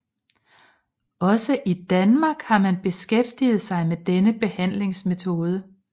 Også i Danmark har man beskæftiget sig med denne behandlingsmetode